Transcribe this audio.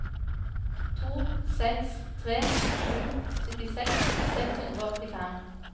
to seks tre sju syttiseks seks hundre og åttifem